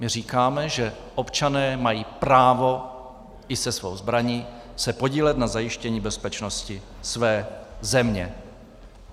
My říkáme, že občané mají právo i se svou zbraní se podílet na zajištění bezpečnosti své země.